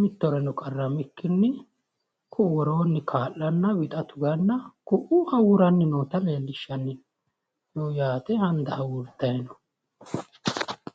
mittoreno qarramikkinni ku'u woroonni wixa tuganna ku'u hawuuranni noo handa hawuurtanni no.